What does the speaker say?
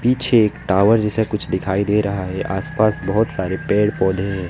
पीछे एक टावर जैसा कुछ दिखाई दे रहा है आस पास बहोत सारे पेड़ होते हैं।